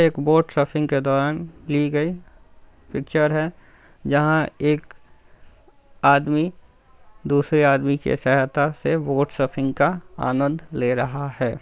एक boat surfing के दौरान ली गई पिक्चर है जहां एक आदमी दूसरे आदमी की सहायता से बोट सर्फिंग का आनंद ले रहा है।